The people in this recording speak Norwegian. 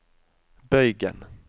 bøygen